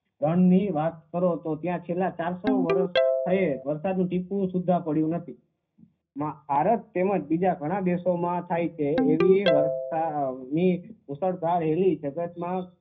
વનની વાત કરો તો છેલ્લા ચારસો વર્ષ થઈ વરસાદનું ટીપું એ પડ્યું નથી ભારત તેમજ બીજા ઘણા દેશોમાં થાય છે એવી વર્ષાની મુશળધારેલી જગતના